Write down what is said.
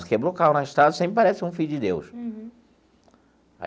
Se quebrou o carro na estrada, sempre aparece um filho de Deus. Uhum.